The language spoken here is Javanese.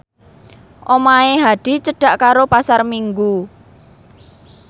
omahe Hadi cedhak karo Pasar Minggu